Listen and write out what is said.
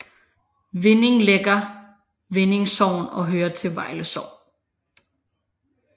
Vinding ligger Vinding Sogn og hører til Vejle Kommune